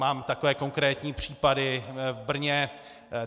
Mám takové konkrétní případy v Brně.